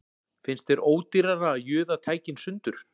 Finnst þér ódýrara að juða tækin sundur